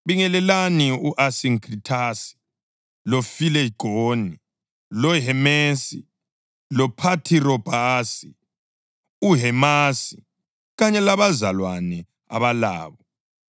Bingelelani u-Asinkrithasi, loFilegoni, loHemesi, loPhathirobhasi, uHemasi kanye labazalwane abalabo.